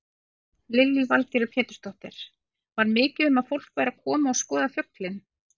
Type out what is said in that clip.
Lillý Valgerður Pétursdóttir: Var mikið um að fólk væri að koma að skoða fuglinn?